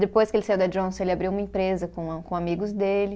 Depois que ele saiu da Johnson, ele abriu uma empresa com a, com amigos dele.